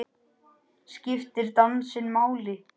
Skiptir dansinn máli?